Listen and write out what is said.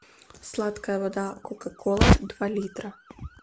сладкая вода кока кола два литра